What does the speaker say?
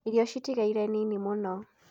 Irio ciratigarire nini mũno